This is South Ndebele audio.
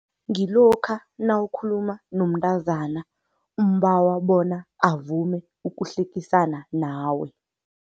Ngilokha nawukhuluma nomntazana, umbawa bona avume ukuhlekisana nawe.